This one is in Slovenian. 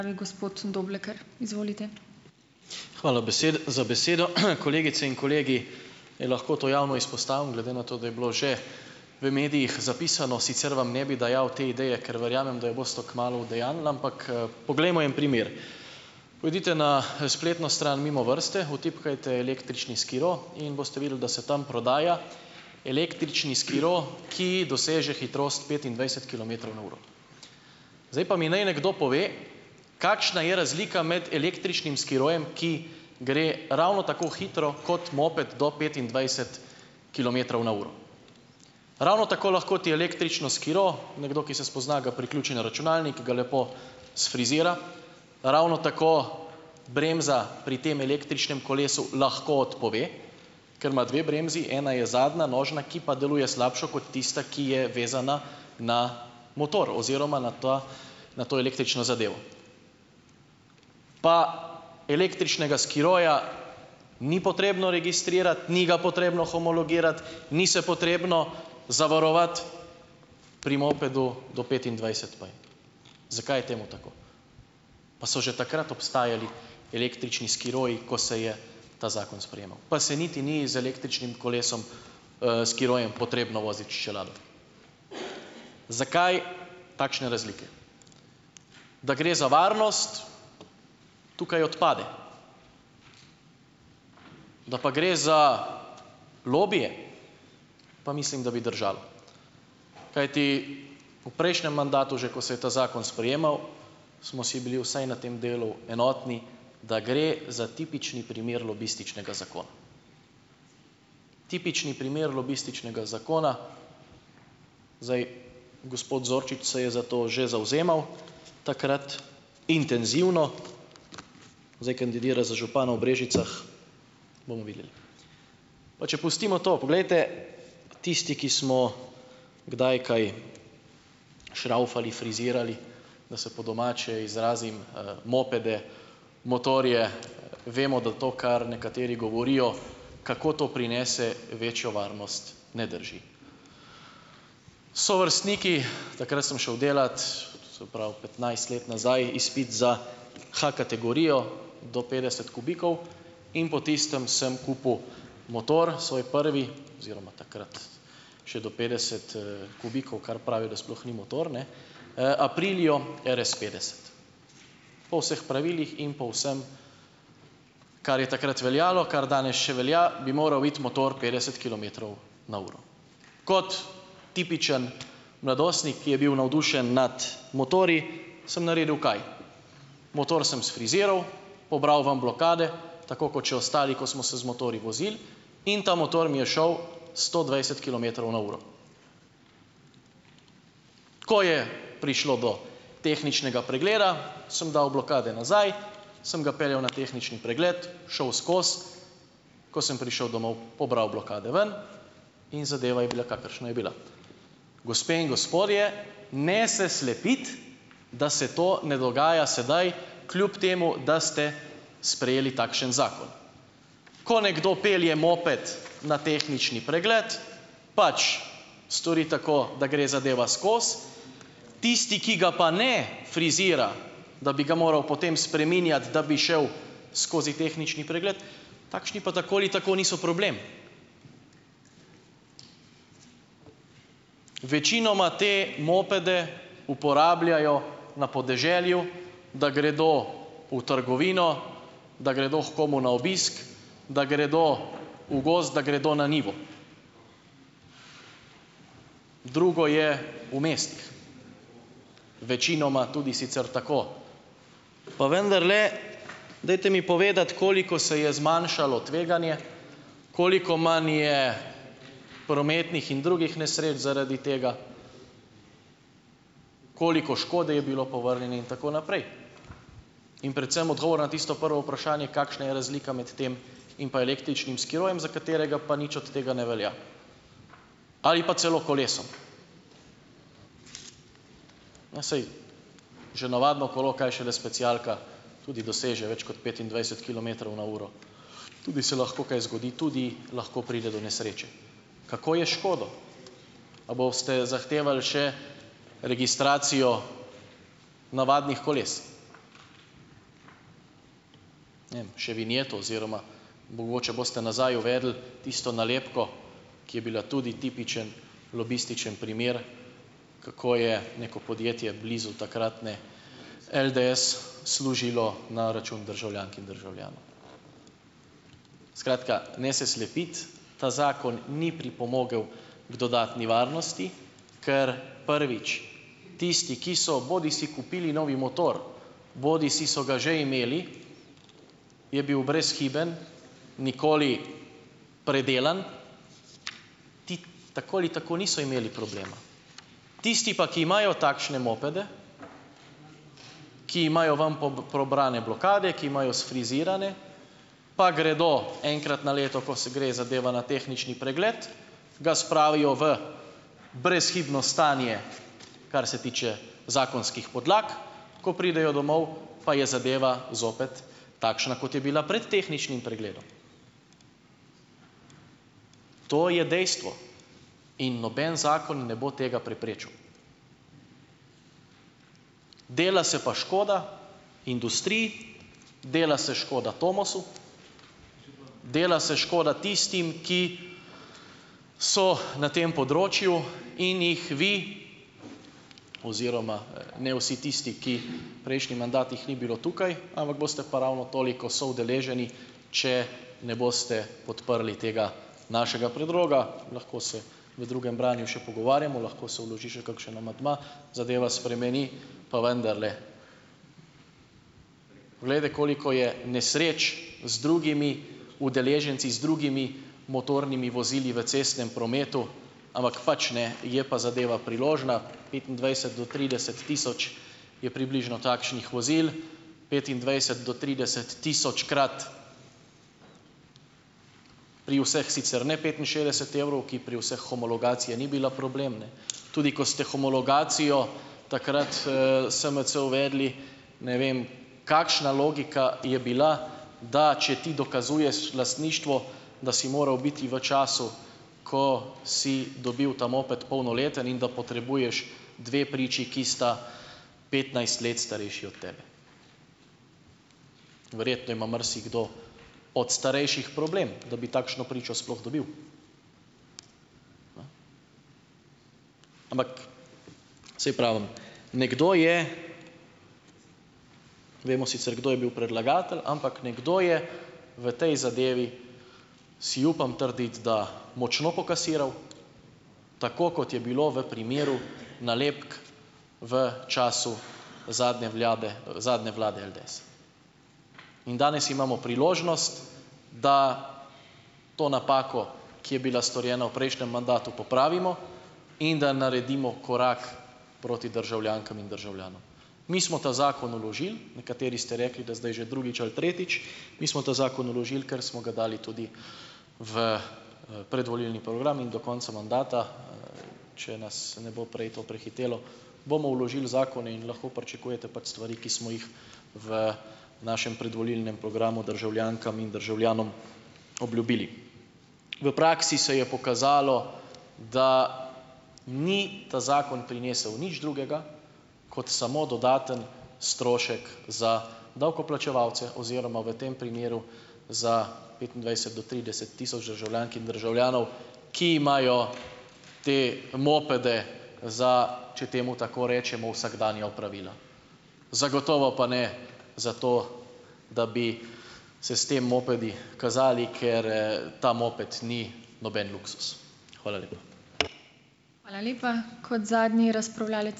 Hvala za besedo, kolegice in kolegi, e lahko to javno izpostavim, glede na to, da je bilo že v medijih zapisano, sicer vam ne bil dajal te ideje, ker verjamem, da jo boste kmalu udejanjili, ampak, poglejmo en primer. Pojdite na, spletno stran Mimovrste, vtipkajte električni skiro in boste videli, da se tam prodaja električni skiro, ki doseže hitrost petindvajset kilometrov na uro. Zdaj pa mi ni nekdo pove, kakšna je razlika med električnim skirojem, ki gre ravno tako hitro kot moped do petindvajset kilometrov na uro. Ravno tako lahko ti električno skiro, nekdo, ki se spozna, ga priključi na računalnik, ga lepo sfrizira, ravno tako bremza pri tem električnem kolesu lahko odpove, ker ima dve bremzi, ena je zadnja, nožna, ki pa deluje slabše kot tista, ki je vezana na motor oziroma na to, na to električno zadevo. Pa električnega skiroja ni potrebno registrirati, ni ga potrebno homologirati, ni se potrebno zavarovati, pri mopedu do petindvajset pa je. Zakaj je temu tako? Pa so že takrat obstajali električni skiroji, ko se je ta zakon sprejemal. Pa se niti ni z električnem kolesom, skirojem potrebno voziti s čelado. Zakaj takšne razlike? Da gre za varnost, tukaj odpade, da pa gre za lobije, pa mislim, da bi držalo, kajti v prejšnjem mandatu, že ko se je ta zakon sprejemal, smo si bili vsaj na tem delu enotni, da gre za tipični primer lobističnega zakona. Tipični primer lobističnega zakona. Zdaj, gospod Zorčič se je za to že zavzemal takrat, intenzivno, zdaj kandidira za župana v Brežicah, bomo videli. Pa če pustimo to. Poglejte, tisti, ki smo kdaj kaj "šravfali", frizirali, da se po domače izrazim, mopede, motorje, vemo, da to, kar nekateri govorijo, kako to prinese večjo varnost, ne drži. Sovrstniki, takrat sem šel delat, se pravi petnajst let nazaj, izpit za H-kategorijo, do petdeset "kubikov", in po tistem sem kupil motor, svoj prvi, oziroma takrat še do petdeset, "kubikov", kar pravijo, da sploh ni motor, ne, Aprilio RS petdeset. Po vseh pravilih in po vsem, kar je takrat veljalo, kar danes še velja, bi moral iti motor petdeset kilometrov na uro. Kot tipičen mladostnik, ki je bil navdušen nad motorji, sem naredil kaj? Motor sem sfriziral, pobral ven blokade, tako kot še ostali, ko smo se z motorji vozili, in ta motor mi je šel sto dvajset kilometrov na uro. Ko je prišlo do tehničnega pregleda, sem dal blokade nazaj, sem ga peljal na tehnični pregled, šel skozi, ko sem prišel domov, pobral blokade ven in zadeva je bila, kakšna je bila. Gospe in gospodje, ne se slepiti, da se to ne dogaja sedaj, kljub temu, da ste sprejeli takšen zakon. Ko nekdo pelje moped na tehnični pregled, pač stori tako, da gre zadeva skozi, tisti, ki ga pa ne frizira, da bi ga moral potem spreminjati, da bi šel skozi tehnični pregled, takšni pa tako ali tako niso problem. Večinoma te mopede uporabljajo na podeželju, da gredo v trgovino, da gredo h komu na obisk, da gredo v gozd, da gredo na njivo. Drugo je v mestih. Večinoma tudi sicer tako. Pa vendarle, dajte mi povedati, koliko se je zmanjšalo tveganje, koliko manj je prometnih in drugih nesreč zaradi tega, koliko škode je bilo povrnjene in tako naprej? In predvsem odgovora na tisto prvo vprašanje, kakšna je razlika med tem in pa električnem skirojem, za katerega pa nič od tega ne velja, ali pa celo kolesom. No, saj že navadno kolo, kaj šele specialka tudi doseže več kot petindvajset kilometrov na uro, tudi se lahko kaj zgodi, tudi lahko pride do nesreče. Kako je s škodo? A boste zahtevali še registracijo navadnih koles? Ne vem, še vinjeto oziroma mogoče boste nazaj uvedli tisto nalepko, ki je bila tudi tipičen lobističen primer, kako je neko podjetje blizu takratne LDS služilo na račun državljank in državljanov. Skratka, ne se slepiti. Ta zakon ni pripomogel k dodatni varnosti, ker, prvič, tisti, ki so bodisi kupili novi motor bodisi so ga že imeli, je bil brezhiben, nikoli predelan, ti tako ali tako niso imeli problema. Tisti pa, ki imajo takšne mopede, ki imajo ven pobrane blokade, ki imajo sfrizirane, pa gredo enkrat na leto, ko se gre zadeva na tehnični pregled, ga spravijo v brezhibno stanje, kar se tiče zakonskih podlag, ko pridejo domov, pa je zadeva zopet takšna, ko je bila prej tehničnim pregledom. To je dejstvo. In noben zakon ne bo tega preprečil. Dela se pa škoda industriji, dela se škoda Tomosu, dela se škoda tistim, ki so na tem področju, in jih vi oziroma, ne, vsi tisti, ki prejšnji mandat jih ni bilo tukaj, ampak boste pa ravno toliko soudeleženi, če ne boste podprli tega našega predloga. Lahko se v drugem branju še pogovarjamo, lahko se vloži še kakšen amandma, zadeva spremeni, pa vendarle. Poglejte, koliko je nesreč z drugimi udeleženci, z drugimi motornimi vozili v cestnem prometu, ampak pač, ne, je pa zadeva priložna, petindvajset do trideset tisoč je približno takšnih vozil, petindvajset do trideset tisočkrat, pri vseh sicer ne petinšestdeset evrov, ki pri vseh homologacija ni bila problem, ne. Tudi ko ste homologacijo takrat, SMC uvedli, ne vem, kakšna logika je bila, da če ti dokazuješ lastništvo, da si moral biti v času, ko si dobil ta moped, polnoleten in da potrebuješ dve priči, ki sta petnajst let starejši od tebe. Verjetno ima marsikdo od starejših problem, da bi takšno pričo sploh dobil. Ampak, saj pravim, nekdo je, vemo sicer, kdo je bil predlagatelj, ampak nekdo je v tej zadevi, si upam trditi, da močno pokasiral, tako kot je bilo v primeru nalepk v času zadnje vlade zadnje vlade LDS. In danes imamo priložnost, da to napako, ki je bila storjena v prejšnjem mandatu, popravimo in da naredimo korak proti državljankam in državljanom. Mi smo ta zakon vložili, nekateri ste rekli, da zdaj že drugič ali tretjič, mi smo ta zakon vložili, ker smo ga dali tudi v predvolilni program in do konca mandata, če nas ne bo prej to prehitelo, bomo vložili zakone in lahko pričakujete, pač, stvari, ki smo jih v našem predvolilnem programu državljankam in državljanom obljubili. V praksi se je pokazalo, da ni ta zakon prinesel nič drugega kot samo dodaten strošek za davkoplačevalce oziroma v tem primeru za petindvajset do trideset tisoč državljank in državljanov, ki imajo te mopede za, če temu tako rečemo, vsakdanja opravila. Zagotovo pa ne za to, da bi se s tem mopedi kazali, ker, ta moped ni noben luksuz. Hvala lepa.